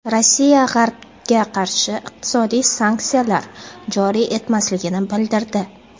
Rossiya G‘arbga qarshi iqtisodiy sanksiyalar joriy etmasligini bildirdi.